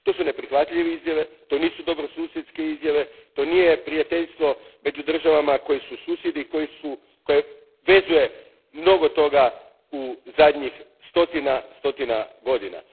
To su neprihvatljive izjave, to nisu dobrosusjedske izjave, to nije prijateljstvo među državama koje su susjedi i koje vezuje mnogo toga u zadnjih stotina, stotina godina.